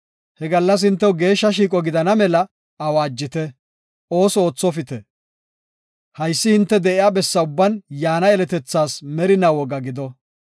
He gallas hintew geeshsha shiiqo gidana mela awaajite; ooso oothopite. Haysi hinte de7iya bessa ubban yaana yeletethaas merinaa woga gido.